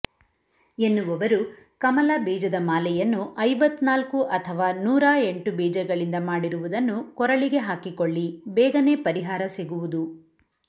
ಎನ್ನುವವರು ಕಮಲ ಬೀಜದ ಮಾಲೆಯನ್ನು ಐವತ್ನಾಲ್ಕು ಅಥವಾ ನೂರಾ ಎಂಟು ಬೀಜಗಳಿಂದ ಮಾಡಿರುವುದನ್ನು ಕೊರಳಿಗೆ ಹಾಕಿಕೊಳ್ಳಿ ಬೇಗನೆ ಪರಿಹಾರ ಸಿಗುವುದು